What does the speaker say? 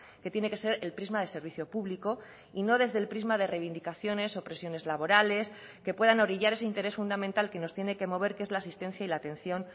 que tiene que ser el prisma de servicio público y no desde el prisma de reivindicaciones o presiones laborales que puedan orillar ese interés fundamental que nos tiene que mover que es la asistencia y la atención